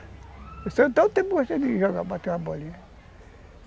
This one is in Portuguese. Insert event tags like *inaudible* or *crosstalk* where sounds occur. *unintelligible* gostei de jogar, bater uma bolinha.